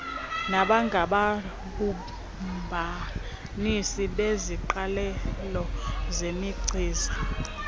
nabangababumbanisi beziqalelo zemichiza